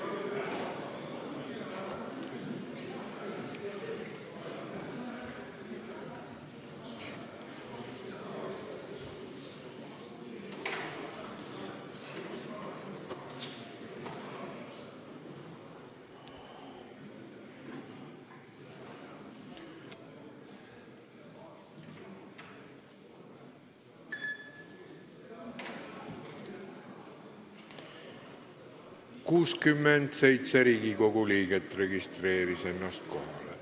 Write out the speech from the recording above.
Kohaloleku kontroll 67 Riigikogu liiget registreeris ennast kohalolijaks.